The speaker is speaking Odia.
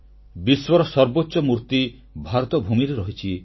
ବିଶ୍ୱର ସର୍ବୋଚ୍ଚ ମୂର୍ତ୍ତି ଭାରତ ଭୂମିରେ ରହିଛି